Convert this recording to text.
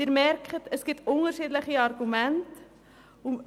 Sie merken, dass es unterschiedliche Argumente gibt.